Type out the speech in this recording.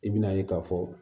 I bi na ye k'a fɔ